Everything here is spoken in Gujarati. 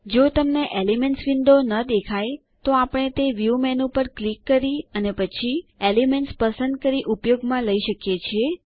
જો તમને એલિમેન્ટ્સ વિન્ડો ન દેખાય તો આપણે તે વ્યૂ મેનુ પર ક્લિક કરી અને પછી એલિમેન્ટ્સ પસંદ કરી ઉપયોગમાં લઇ શકીએ છીએ